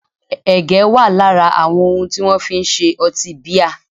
Ẹ̀gẹ́ wà lára àwọn ohun tí wọ́n fi ń se ọtí bíà